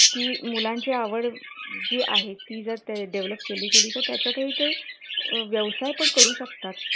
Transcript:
ती मुलांची आवड जी आहे ती जर develop केली गेली तर त्यातही ते व्यवसाय पण करू शकतात